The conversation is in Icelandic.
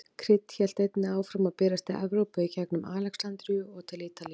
Krydd hélt einnig áfram að berast til Evrópu í gengum Alexandríu og til Ítalíu.